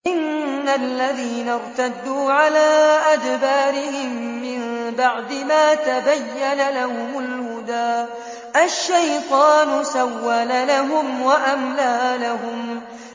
إِنَّ الَّذِينَ ارْتَدُّوا عَلَىٰ أَدْبَارِهِم مِّن بَعْدِ مَا تَبَيَّنَ لَهُمُ الْهُدَى ۙ الشَّيْطَانُ سَوَّلَ لَهُمْ وَأَمْلَىٰ لَهُمْ